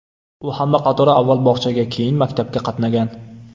U hamma qatori avval bog‘chaga, keyin maktabga qatnagan.